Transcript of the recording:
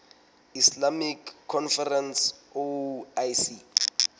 islamic conference oic